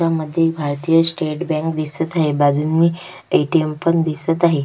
चित्रामध्ये Bharatiya state bank दिसत आहे बाजूनी ए.टी.एम. पण दिसत आहे.